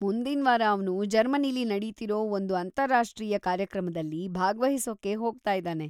ಮುಂದಿನ್ವಾರ‌ ಅವ್ನು ಜರ್ಮನಿಲಿ ನಡೀತಿರೋ ಒಂದು ಅಂತಾರಾಷ್ಟ್ರೀಯ ಕಾರ್ಯಕ್ರಮದಲ್ಲಿ ಭಾಗ್ವಹಿಸೊಕ್ಕೆ ಹೋಗ್ತಾಯಿದಾನೆ.